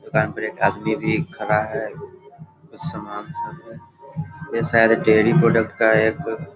दुकान पर एक आदमी भी खड़ा है कुछ सामान सब है ये शायद डेरी प्रोडक्ट का है एक।